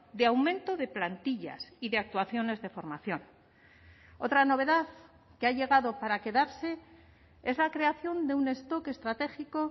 de aumento de plantillas y de actuaciones de formación otra novedad que ha llegado para quedarse es la creación de un stock estratégico